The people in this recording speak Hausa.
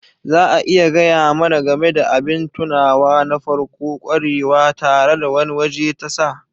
Za a iya gaya mana game da abin tunawa na farko-kwarewa tare da wani waje tasa?